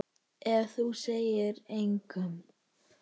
Ef þú segir engum.